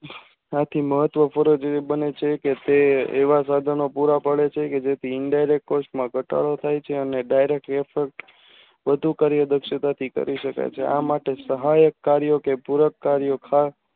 આથી મહત્વ પૂર્ણ જીવી બને છે કે તે એવા સાધનો પુરા પડે છે કે જેથી Indirect Course માં ઘટાડો થાય છે અને Direct હેતુ કાર્ય કરી શકાય છે આમ માટે